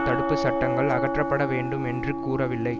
தடுப்பு சட்டங்கள் அகற்றப்பட வேண்டும் என்று கூறவில்லை